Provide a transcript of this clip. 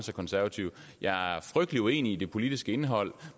konservative jeg er frygtelig uenig i det politiske indhold